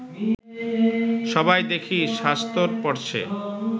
সবাই দেখি শাস্তর পড়ছে